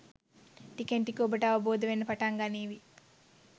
ටිකෙන් ටික ඔබට අවබෝධ වෙන්න පටන් ගනීවි